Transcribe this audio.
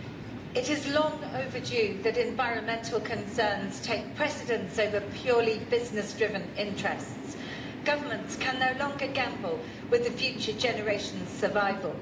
Mr President, it is long overdue that environmental concerns take precedence over purely business-driven interests. Governments can no longer gamble with the future generation's survival.